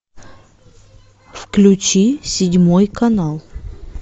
включи седьмой канал